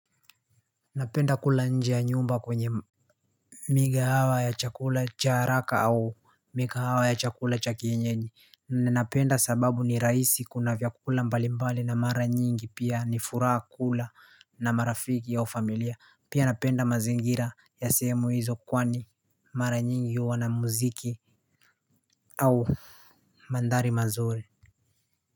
Napenda kula nje ya nyumba kwenye miga hawa ya chakula cha haraka au miga hawa ya chakula cha kienyeji. Ninapenda sababu ni raisi kuna vyakula mbali mbali na mara nyingi pia ni furaha kula na marafiki au familia pia napenda mazingira ya sehemu hizo kwani mara nyingi wa na mziki au mandhari mazuri.